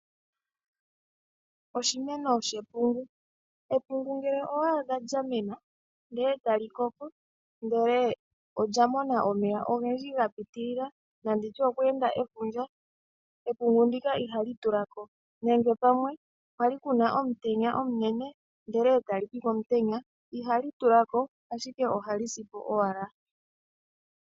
Oshimeno shepungu, epungu ngele owa adha lyamena lyakoka ndele olya mona omeya ogendji gapiitilila, nenge kwe enda efundja epungu ndoka ihali tula ko, nenge kwali kuna omutenya omunene etalipi komutenya ihali tulako ihe ohali si po owala